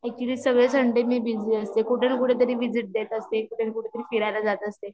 actually सगळे Sunday मी busy असते कुठे ना कुठे तरी विझीट देत असते कुठे ना कुठे तरी फिरायला जात असते